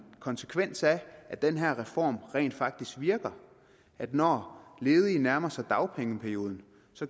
konsekvens af at den her reform rent faktisk virker når ledige nærmer sig dagpengeperioden